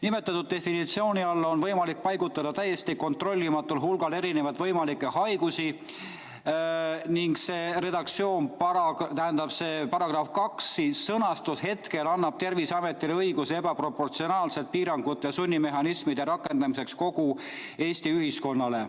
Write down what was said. Nimetatud definitsiooni alla on võimalik paigutada täiesti kontrollimatul hulgal erinevaid võimalikke haigusi ning see redaktsioon, tähendab see § 2 sõnastus annab Terviseametile õiguse rakendada ebaproportsionaalselt piiranguid ja sunnimehhanisme kogu Eesti ühiskonnale.